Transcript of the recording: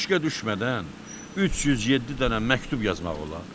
Eşqə düşmədən 307 dənə məktub yazmaq olar?